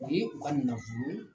O ye, u ka nafolo